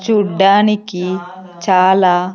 చూడ్డానికి చాలా.